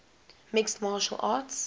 mixed martial arts